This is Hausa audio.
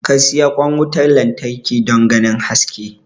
ka siyi kwan wutar lantarki don ganin haske